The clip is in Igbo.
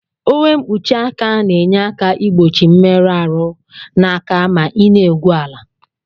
Uwe nkpuchi aka na enye aka igbochi mmerụ arụ na aka ma ina egwu ala.